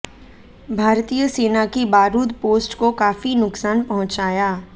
भारतीय सेना की बारूद पोस्ट को काफी नुकसान पहुंचाया